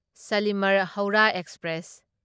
Shalimar Howrah express